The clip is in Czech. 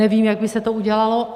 Nevím, jak by se to udělalo.